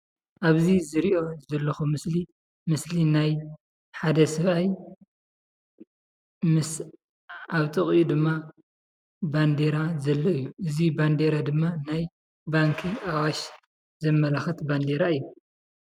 አብዚ ዝሪኦ ዘለኩ ምስሊ፡- ምስሊ ናይ ሓደ ሰብአይ ምስ አብ ጥቅኡ ድማ ባንዴራ ዘሎ እዩ፡፡ እዚ ባንዴራ ድማ ናይ ባንኪ አዋሽ ዘመላክት ባንዴራ እዩ፡፡